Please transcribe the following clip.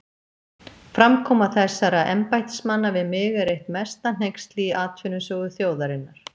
Framkoma þessara embættismanna við mig er eitt mesta hneyksli í atvinnusögu þjóðarinnar.